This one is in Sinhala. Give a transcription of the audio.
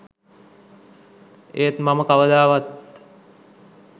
ඒත් මම කවදාවත්